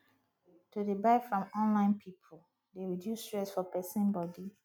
to dey buy from online pipu dey reduce stress for pesin body